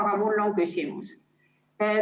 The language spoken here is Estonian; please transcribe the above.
Aga mul on ka küsimus.